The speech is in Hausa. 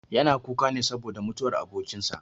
Yana kuka saboda mutuwar abokin sa.